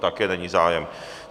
Také není zájem.